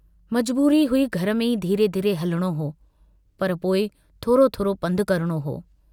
मजबूरी हुई घर में ई धीरे-धीरे हलणो हो पर पोइ थोरो थोरो पंधु करणो हो।